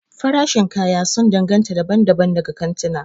Farashin kaya sun danganta daban-daban daga kantuna.